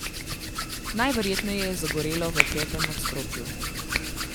Najverjetneje je zagorelo v petem nadstropju.